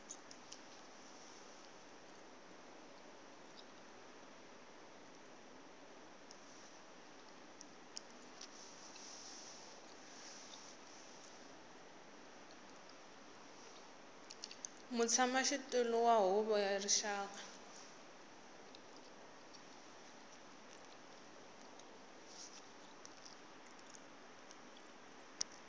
mutshamaxitulu wa huvo ya rixaka